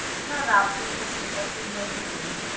না না, আপনি just ইটা single এ করুন,